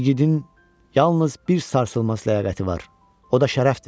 igidin yalnız bir sarsılmaz ləyaqəti var, o da şərəfdir.